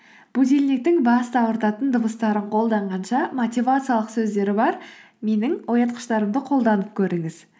будильниктің басты ауыртатын дыбыстарын қолданғанша мотивациялық сөздері бар менің оятқыштарымды қолданып көріңіз